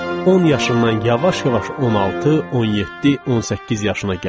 10 yaşından yavaş-yavaş 16, 17, 18 yaşına gəldik.